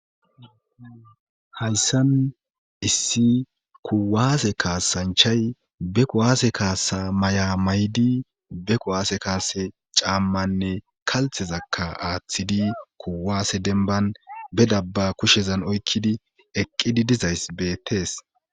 Hayssan issi kuwaase kaasanchay be ku'waase kaasa may'a maydi be qu'waase kaase caammanne kalthezakka aaththidi kuwaase denban bedabba kushezan oykkidi eqqidi dizays beettees.